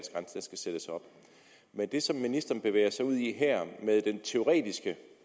sættes op men det som ministeren bevæger sig ud i her med den teoretiske